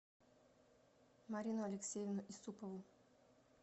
марину алексеевну исупову